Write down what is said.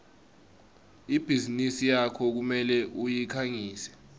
ibhizinisi yakho kumele uyikhangise